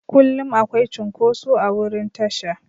Kullum akwai cunkoso a wurin tasha.